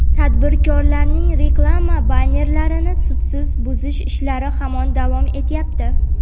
tadbirkorlarning reklama bannerlarini sudsiz buzish ishlari hamon davom etyapti.